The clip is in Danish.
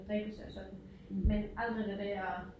Drikkelse og sådan men aldrig det der